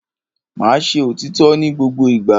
Máa ṣe òrítọ́ ní gbogbo ìgbà.